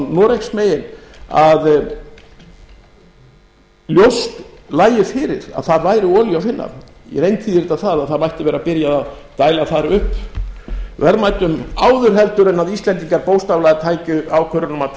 noregsmegin að ljóst lægi fyrir að þar væri olíu að finna í reynd þýðir þetta það að það mætti vera byrjað að dæla þar upp verðmætum áður heldur en íslendingar bókstaflega tæki ákvörðun um að